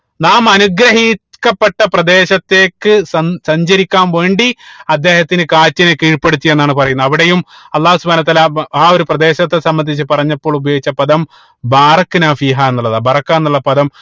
നാം അനുഗ്രഹിക്കപ്പെട്ട പ്രദേശത്തേക്ക് സഞ്ച സഞ്ചരിക്കാൻ വേണ്ടി അദ്ദേഹത്തിന് കാറ്റിനെ കീഴ്‌പ്പെടുത്തി എന്നാണ് പറയുന്നത് അവിടെയും അള്ളാഹു സുബ്‌ഹാനഉ വതാല ആ ഒരു പ്രദേശത്തെ സംബന്ധിച്ച് പറഞ്ഞപ്പോൾ ഉപയോഗിച്ച പദം എന്നുള്ളതാണ് എന്നുള്ള പദം